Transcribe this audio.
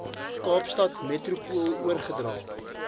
kaapstad metropool oorgedra